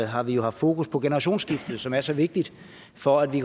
har vi haft fokus på generationsskiftet som er så vigtigt for at vi